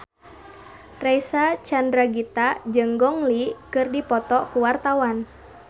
Reysa Chandragitta jeung Gong Li keur dipoto ku wartawan